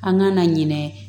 An ka na ɲinɛ